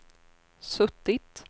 suttit